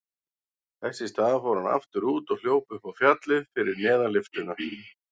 Þess í stað fór hann aftur út og hljóp upp fjallið fyrir neðan lyftuna.